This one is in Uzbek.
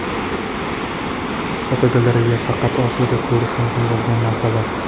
Fotogalereya: Faqat Osiyoda ko‘rish mumkin bo‘lgan narsalar.